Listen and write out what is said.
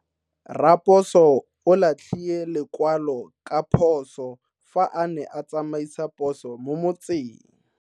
Raposo o latlhie lekwalo ka phoso fa a ne a tsamaisa poso mo motseng.